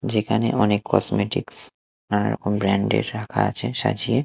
যেখানে অনেক কসমেটিকস নানা রকম ব্র্যান্ডের -এর রাখা আছে সাজিয়ে।